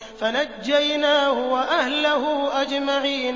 فَنَجَّيْنَاهُ وَأَهْلَهُ أَجْمَعِينَ